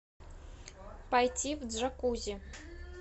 пойти в джакузи